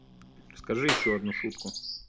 расскажи ещё одну шутку